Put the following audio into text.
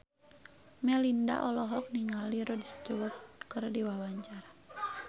Melinda olohok ningali Rod Stewart keur diwawancara